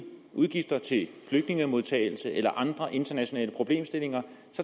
udgifter til flygtningemodtagelse eller andre internationale problemstillinger